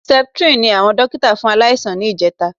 Septrin ni àwọn dókítà fún aláìsàn ní ìjẹta